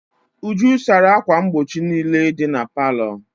Uju sara ákwà mgbochi niile dị na palọ.